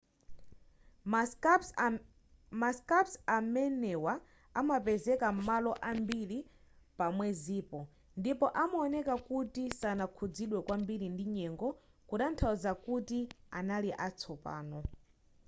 ma scarps amenewa anapezeka malo ambiri pa mwezipo ndipo anaoneka kuti sanakhuzidwe kwambiri ndi nyengo kutanthauza kuti anali atsopano